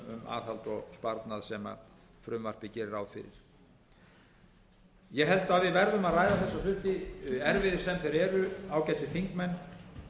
aðhald og sparnað sem frumvarpið gerir ráð fyrir ég held að við verðum að ræða þessa hluti erfiðir sem þeir eru ágætu þingmenn